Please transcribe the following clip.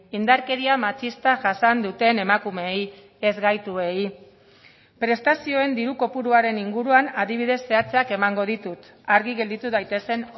indarkeria matxista jasan duten emakumeei ez gaituei prestazioen diru kopuruaren inguruan adibidez zehatzak emango ditut argi gelditu daitezen